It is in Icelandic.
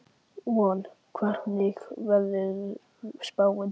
Von, hvernig er veðurspáin?